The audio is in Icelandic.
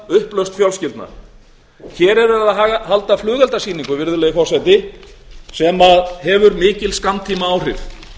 upplausn fjölskyldna hér er verið að halda flugeldasýningu virðulegi forseti sem hefur mikil skammtímaáhrif